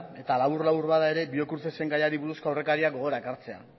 eta labur labur bada ere biocrucesen gaiari buruzko aurrekaria gogora ekartzea